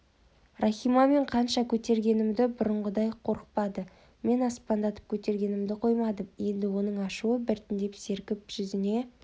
рахима мен қанша көтергеніммен бұрынғыдай қорықпады мен аспандатып көтергенімді қоймадым енді оның ашуы біртіндеп сергіп жүзіне